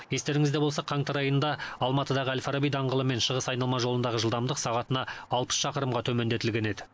естеріңізде болса қаңтар айында алматыдағы әл фараби даңғылы мен шығыс айналма жолындағы жылдамдық сағатына алпыс шақырымға төмендетілген еді